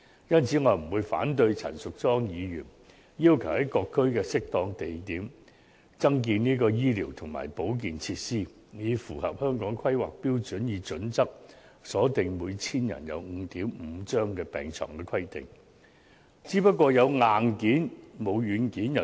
因此，對於陳淑莊議員建議在各區的適當地點增建醫療及保健設施，以符合《規劃標準》所訂每 1,000 人設有 5.5 張病床的規定，我不會反對。